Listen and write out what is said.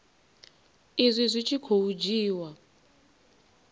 izwi zwi tshi khou dzhiiwa